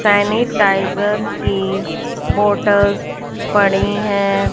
Sanitiser की bottles पड़ी है।